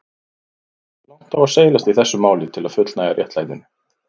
Hversu langt á seilast í þessu máli til að fullnægja réttlætinu?